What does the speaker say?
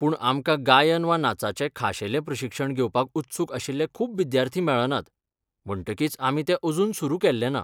पूण आमकां गायन वा नाचाचें खाशेलें प्रशिक्षण घेवपाक उत्सूक आशिल्ले खूब विद्यार्थी मेळनात, म्हणटकीच आमी तें अजून सुरू केल्लेंना.